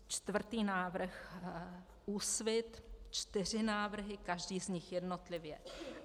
Čtvrtý návrh, Úsvit, čtyři návrhy, každý z nich jednotlivě.